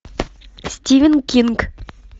стивен кинг